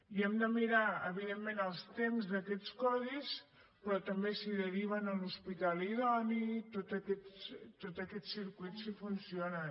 i hem de mirar evidentment els temps d’aquests codis però també si deriven a l’hospital idoni tots aquests circuits si funcionen